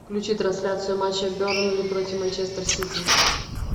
включи трансляцию матча бернли против манчестер сити